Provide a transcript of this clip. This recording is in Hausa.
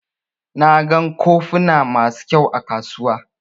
Na gan kofuna masu ƙyau a kasuwa.